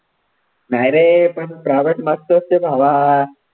नाही रे पण private मस्त असते भावा.